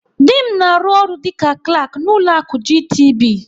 Dị m na-arụ ọrụ dịka Klak n'ụlọ akụ GTB.